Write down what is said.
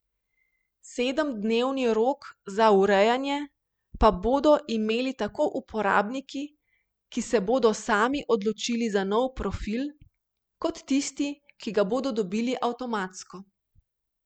Sedemdnevni rok za urejanje pa bodo imeli tako uporabniki, ki se bodo sami odločili za nov profil, kot tisti, ki ga bodo dobili avtomatsko.